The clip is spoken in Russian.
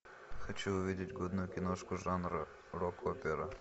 хочу увидеть годную киношку жанра рок опера